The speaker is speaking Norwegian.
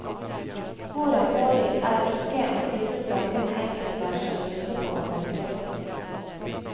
Vår erfaring er ikke at disse sakene enkelt lar seg løse på arbeidsplassen.